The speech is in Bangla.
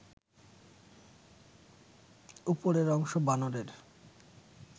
উপরের অংশ বানরের